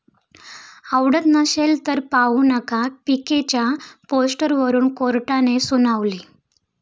आवडत नसेल तर पाहू नका', पीकेच्या पोस्टरवरुन कोर्टाने सुनावले